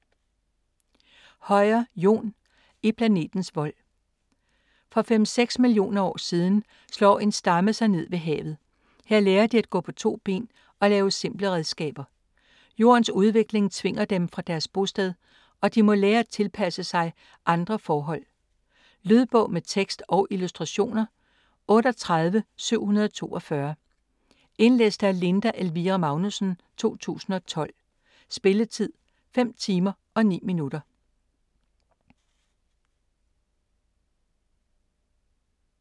Høyer, Jon: I planetens vold For 5-6 millioner år siden slår en stamme sig ned ved havet. Her lærer de at gå på to ben og lave simple redskaber. Jordens udvikling tvinger dem fra deres bosted, og de må lære at tilpasse sig andre forhold. Lydbog med tekst og illustrationer 38742 Indlæst af Linda Elvira Magnussen, 2012. Spilletid: 5 timer, 9 minutter.